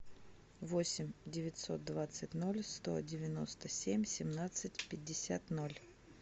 восемь девятьсот двадцать ноль сто девяносто семь семнадцать пятьдесят ноль